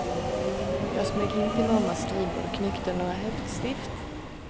Jag smög in till mammas skrivbord och knyckte några häftstift.